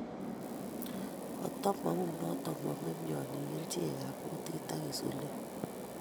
Koto maunoton kuome mionik kerchek ab kutit ak insulin